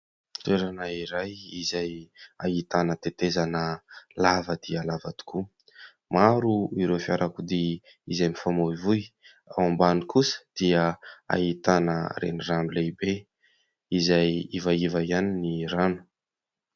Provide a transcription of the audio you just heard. Toerana iray izay ahitana tetezana lava dia lava tokoa, maro ireo fiarakodia izay mifamoivoy ; ao ambany kosa dia ahitana renirano lehibe izay ivaiva ihany ny rano.